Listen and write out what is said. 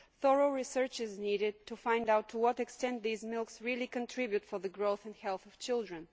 Thorough research is needed to find out to what extent these milks really contribute to the growth and health of children.